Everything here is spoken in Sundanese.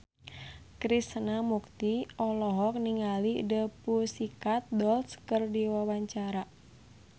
Krishna Mukti olohok ningali The Pussycat Dolls keur diwawancara